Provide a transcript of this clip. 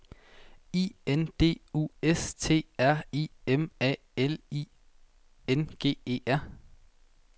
I N D U S T R I M A L I N G E R